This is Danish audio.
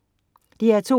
DR2: